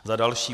Za další.